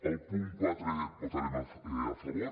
al punt quatre votarem a favor